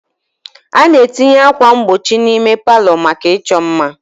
A na-etinye ákwà mgbochi n'ime palọ maka ịchọ mma.